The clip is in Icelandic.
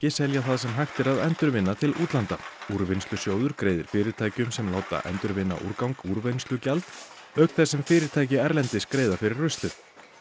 selja það sem hægt er að endurvinna til útlanda úrvinnslusjóður greiðir fyrirtækjum sem láta endurvinna úrgang úrvinnslugjald auk þess sem fyrirtæki erlendis greiða fyrir ruslið